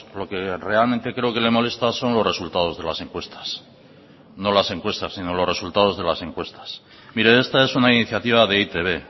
lo que realmente creo que le molesta son los resultados de las encuestas no las encuestas sino los resultados de las encuestas mire esta es una iniciativa de e i te be